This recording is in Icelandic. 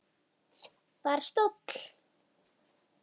Bara stóll!